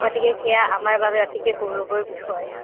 গতিকে সেয়া আমাৰ বাবে অতিকে গৌৰৱৰ বিষয়